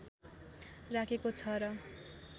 राखेको छ र